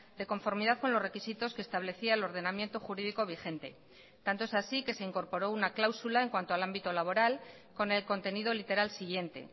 de conformidad con los requisitos que establecía el ordenamiento jurídico vigente tanto es así que se incorporó una cláusula en cuanto al ámbito laboral con el contenido literal siguiente